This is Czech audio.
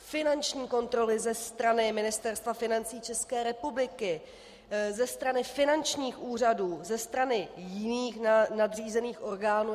Finanční kontroly ze strany Ministerstva financí České republiky, ze strany finančních úřadů, ze strany jiných nadřízených orgánů.